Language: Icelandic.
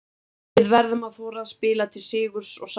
Við verðum að þora að spila til sigurs og sækja.